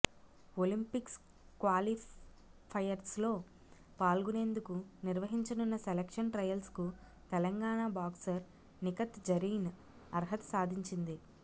Olympics క్వాలిఫయర్స్లో పాల్గొనేందుకు నిర్వహించనున్న సెలక్షన్ ట్రయల్స్కు తెలంగాణ బాక్సర్ నిఖత్ జరీన్ అర్హత సాధించింది